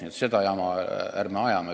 Nii et ärme ajame seda jama!